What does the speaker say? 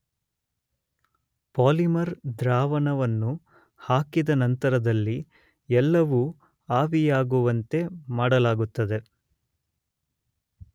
Polymer ದ್ರಾವಣವನ್ನು ಹಾಕಿದ ನಂತರದಲ್ಲಿ ಎಲ್ಲವೂ ಆವಿಯಾಗುವಂತೆ ಮಾಡಲಾಗುತ್ತದೆ.